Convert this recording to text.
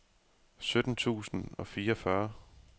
sytten tusind og fireogfyrre